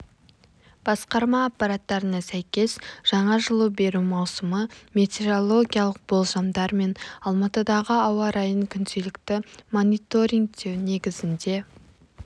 басқарма ақпараттарына сәйкес жаңа жылу беру маусымы метеорологиялық болжамдар мен алматыдағы ауа райын күнделікті мониторингтеу негізінде